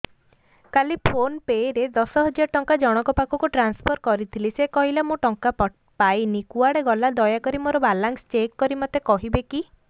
କାଲି PhonePe ରେ ଦଶ ହଜାର ଟଙ୍କା ଜଣକ ପାଖକୁ ଟ୍ରାନ୍ସଫର୍ କରିଥିଲି ସେ କହିଲା ମୁଁ ଟଙ୍କା ପାଇନି କୁଆଡେ ଗଲା ଦୟାକରି ମୋର ବାଲାନ୍ସ ଚେକ୍ କରି ମୋତେ କହିବେ କି